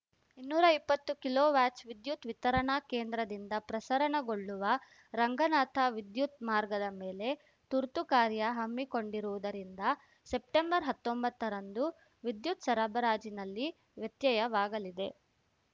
ಇನ್ನೂರಾ ಇಪ್ಪತ್ತುಕಿಲೋವ್ಯಾಟ್ಸ್ ವಿದ್ಯುತ್‌ ವಿತರಣಾ ಕೆಂದ್ರದಿಂದ ಪ್ರಸರಣಗೊಳ್ಳುವ ರಂಗನಾಥ ವಿದ್ಯುತ್‌ ಮಾರ್ಗದ ಮೇಲೆ ತುರ್ತುಕಾರ್ಯ ಹಮ್ಮಿಕೊಂಡಿರುವುದರಿಂದ ಸೆಪ್ಟೆಂಬರ್ಹತ್ತೊಂಬತ್ತರಂದು ವಿದ್ಯುತ್‌ ಸರಬರಾಜಿನಲ್ಲಿ ವ್ಯತ್ಯಯವಾಗಲಿದೆ